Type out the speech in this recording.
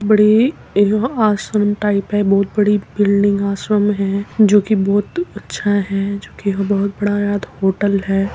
बड़ी एह आश्रम टाइप है। बोहोत बड़ी बिल्डिंग आश्रम है जोकि बोहोत अच्छा है जोकि बोहोत बाद होटल है।